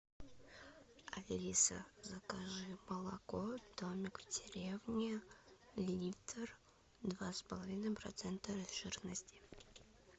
алиса закажи молоко домик в деревне литр два с половиной процента жирности